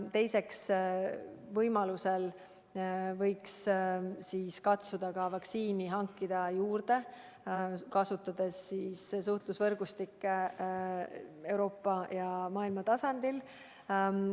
Teiseks, võimaluse korral võiks katsuda vaktsiini juurde hankida, kasutades suhtlusvõrgustikke Euroopa ja kogu maailma tasandil.